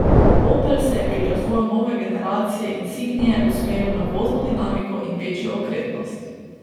Opel se je pri razvoju nove generacije insignie usmeril na vozno dinamiko in večjo okretnost.